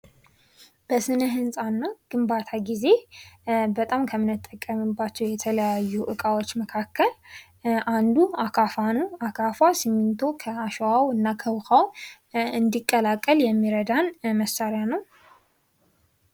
በስነ ህንፃና ግንባታ ጊዜ ለተለያየ አገልግሎት የምንጠቀምባቸው እቃዎች መካከል አንዱ አካፋ ነው ፤ አካፋ ውኃውና ስሚንቶ እንዲቀላቀል ለማድረግ የሚረዳን መሳሪያ ነው።